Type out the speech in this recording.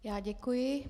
Já děkuji.